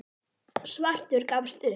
Svartur gafst upp.